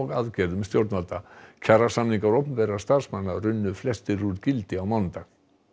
aðgerðum stjórnvalda kjarasamningar opinberra starfsmanna runnu flestir úr gildi á mánudag